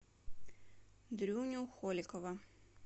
дрюню холикова